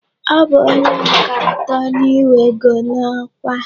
Ọ bụ ónyé nke atọ n'iwego n'ọkwa.